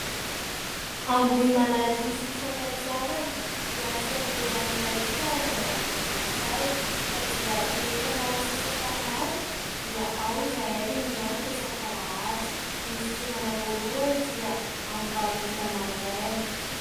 Ambohimanarivo fifankatiavana dia fiangonana iray hita any ambanivohitray ; ka dia rehefa miala sasatra any dia ao izahay no miangona isak'Alahady. Ny fidirana voalohany dia amin'ny valo ora maraina.